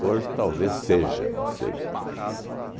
Hoje talvez seja, não sei.